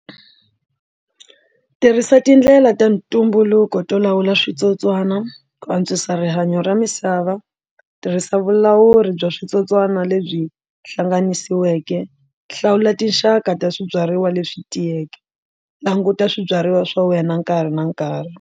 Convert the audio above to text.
Tirhisa tindlela ta ntumbuluko to lawula switsotswana ku antswisa rihanyo ra misava tirhisa vulawuri bya switsotswana lebyi hlanganisiweke hlawula tinxaka ta swibyariwa leswi tiyeke languta swibyariwa swa wena nkarhi na nkarhi.